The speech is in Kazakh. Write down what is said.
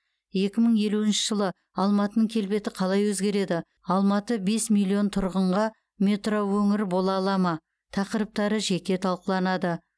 екі мың елуінші жылы алматының келбеті қалай өзгереді алматы бес миллион тұрғынға метроөңір бола ала ма тақырыптары жеке талқыланады